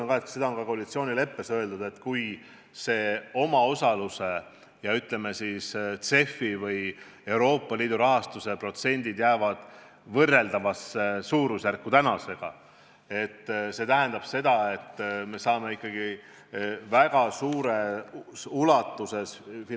Ma rõhutan – ja seda on ka koalitsioonileppes öeldud –, et kui omaosaluse ja CEF-i või Euroopa Liidu rahastuse protsendid jäävad tänasega võrreldavasse suurusjärku, siis tähendab see seda, et Euroopa Liit finantseerib meid ikka väga suures ulatuses.